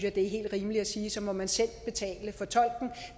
at det er helt rimeligt at sige at så må man selv betale for tolken